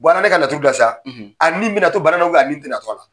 an kɛlen ka laturu da sa a ni bɛna to bana na a ni tɛna to a la ?